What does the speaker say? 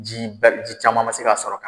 Ji ba, ji caman ma se ka sɔrɔ ka